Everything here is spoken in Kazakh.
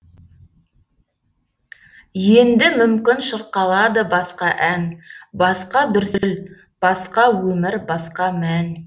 енді мүмкін шырқалады басқа ән басқа дүрсіл басқа өмір басқа мән